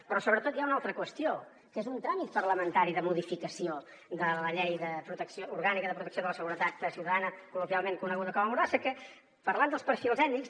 però sobretot hi ha una altra qüestió que és un tràmit parlamentari de modificació de la llei orgànica de protecció de la seguretat ciutadana col·loquialment coneguda com a mordassa que parlant dels perfils èt·nics